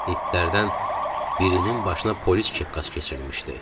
İtlərdən birinin başına polis kepkası keçirilmişdi.